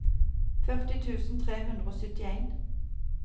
førti tusen tre hundre og syttien